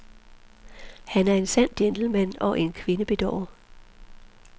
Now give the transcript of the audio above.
Han er en sand gentleman og en kvindebedårer.